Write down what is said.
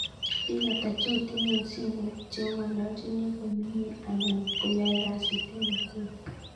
Pig ata cheotinye en simoit cheangololnchini komenye anan koyoe kasit en Nakuru